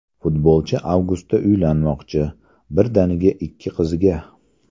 Futbolchi avgustda uylanmoqchi, birdaniga ikki qizga!.